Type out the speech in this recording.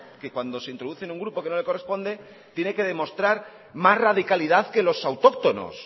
que cuando se introduce en un grupo que no le corresponde tiene que demostrar más radicalidad que los autóctonos